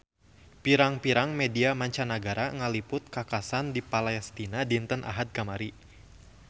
Pirang-pirang media mancanagara ngaliput kakhasan di Palestina dinten Ahad kamari